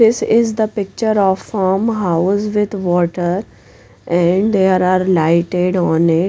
this is the picture of farmhouse with water and there are lighted on it.